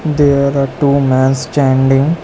There are two mans standing.